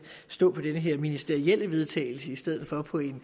stå på det her ministerielle vedtagelse i stedet for på et